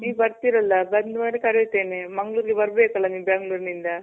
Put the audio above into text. ನೀವ್ ಬರ್ತಿರಲ್ಲ? ಬಂದ್ ಮೇಲೆ ಕರಿತೆನೆ. ಮಂಗಳೂರ್ಗೆ ಬರ್ಬೇಕಲ್ಲ ನೀವ್ ಬೆಂಗಳೂರ್ನಿಂದ.